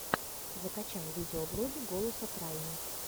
закачай видеоблоги голоса крайни